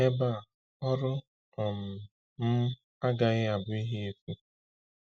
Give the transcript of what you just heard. Ebe a, ọrụ um m agaghị abụ ihe efu.